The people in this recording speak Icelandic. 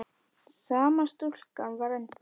Sama stúlkan var þar ennþá.